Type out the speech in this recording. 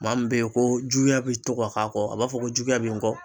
Maa min be ye ko juguya be to ka k'a kɔ a b'a fɔ ko juguya be n kɔ